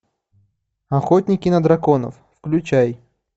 охотники на драконов включай